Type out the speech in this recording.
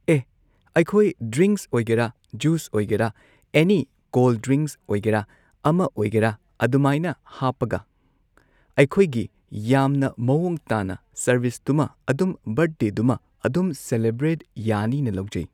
ꯑꯦ ꯑꯩꯈꯣꯏ ꯗ꯭ꯔꯤꯡꯛꯁ ꯑꯣꯏꯒꯦꯔ ꯖꯨꯁ ꯑꯣꯏꯒꯦꯔ ꯑꯦꯅꯤ ꯀꯣꯜ ꯗ꯭ꯔꯤꯡꯛ ꯑꯣꯏꯒꯦꯔꯥ ꯑꯃ ꯑꯣꯏꯒꯦꯔꯥ ꯑꯗꯨꯃꯥꯢꯅ ꯍꯥꯞꯄꯒ ꯑꯩꯈꯣꯏꯒꯤ ꯌꯥꯝꯅ ꯃꯑꯣꯡ ꯇꯥꯅ ꯁꯔꯚꯤꯁꯇꯨꯃ ꯑꯗꯨꯝ ꯕꯔꯊꯗꯦꯗꯨꯃ ꯑꯗꯨꯝ ꯁꯦꯂꯦꯕ꯭ꯔꯦꯠ ꯌꯥꯅꯤꯅ ꯂꯧꯖꯩ